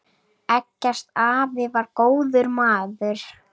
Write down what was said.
Eggert afi var góður maður.